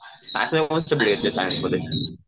सायन्समध्ये सायन्समध्ये